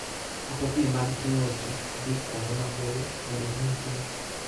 Mtokni mag ting'o ji dhi kuonde maboyo bende nitie.